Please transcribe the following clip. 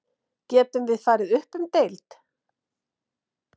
Getum við farið upp um deild?